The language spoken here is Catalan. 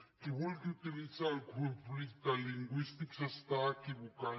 qui vulgui utilitzar el conflicte lingüístic s’està equivocant